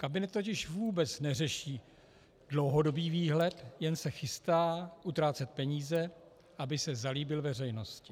Kabinet totiž vůbec neřeší dlouhodobý výhled, jen se chystá utrácet peníze, aby se zalíbil veřejnosti.